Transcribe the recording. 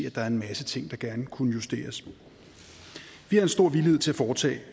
at der er en masse ting der kunne justeres vi har en stor villighed til at foretage